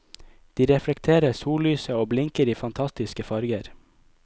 De reflekterer sollyset og blinker i fantastiske farger.